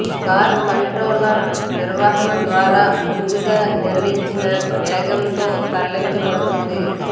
car controller నిర్వహణ ద్వారా ముందుగా నిర్ణయించిన వేగంతో తరలించబడుతుంది